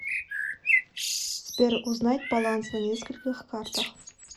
сбер узнать баланс на нескольких картах